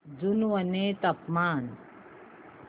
जुनवणे चे तापमान